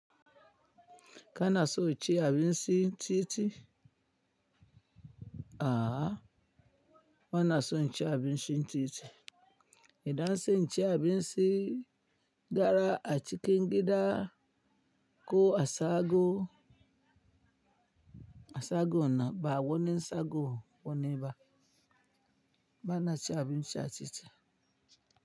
Kana so ci abincin titi? A'a bana son cin abinci titi. Idan sai inci abinci gara a cikin gida ko a shago, a shago na bawani shagon wane ba. Bana ci abin ci a titi.